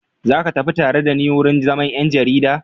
Za ka tafi tare da ni wurin zaman 'yan jarida?